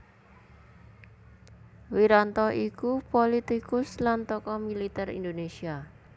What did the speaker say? Wiranto iku pulitikus lan tokoh militer Indonésia